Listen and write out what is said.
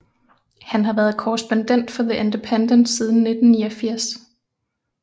Han har været korrespondent for The Independent siden 1989